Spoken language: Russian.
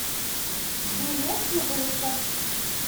билет пуговица